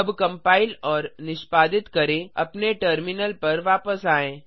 अब कंपाइल और निष्पादित करें अपने टर्मिनल पर वापस आएँ